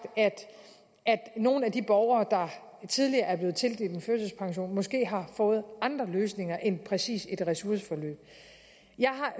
at nogle af de borgere der tidligere er blevet tildelt en førtidspension måske har fået andre løsninger end præcis et ressourceforløb jeg